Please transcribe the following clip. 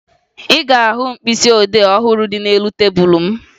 Ị ga-ahụ mkpịsịodee ọhụrụ dị n'elu tebulu m